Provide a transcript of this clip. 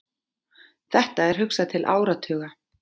Þetta er hugsað til áratuga.